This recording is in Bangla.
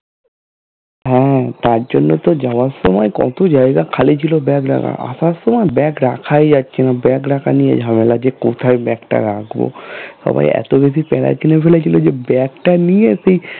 হ্যাঁ তার জন্য তো যাওয়ার সময় কত জায়গা খালি ছিলো bag রাখার সময় bag রাখাই যাচ্ছে না bag রাখা নিয়ে ঝামেলা যে কোথায় bag টা রাখবো সবাই এত বেশি প্যাড়া কিনে ফেলেছিলো যে bag টা নিয়ে সেই